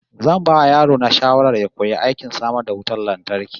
Zan ba yaro na shawara ya koyi aikin samar da wutar lantarki